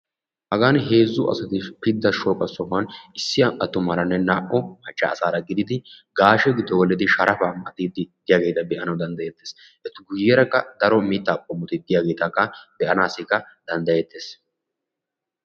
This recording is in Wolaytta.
hagani heezzu asati pidda shooqa sohuwani issi attumaarane naa"u macca asaara gididi gaashe giddo gelidi sharafaa maxiiddi diyageta be"anawu dandayeettes. Eta guyyeeraka daro mittaa qomoti diyagetakka be"anassikka danddayeettes.